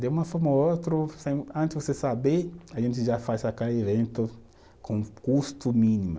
De uma forma ou outro, antes de você saber, a gente já faz aquele evento com custo mínima